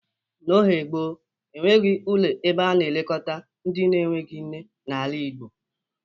N'oge gboo, e nweghi ụlọ ebe a na-elekọta ndị enweghi nne n'ala Igbo.